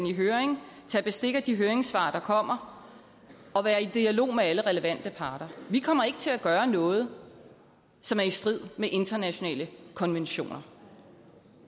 i høring tage bestik af de høringssvar der kommer og være i dialog med alle relevante parter vi kommer ikke til at gøre noget som er i strid med internationale konventioner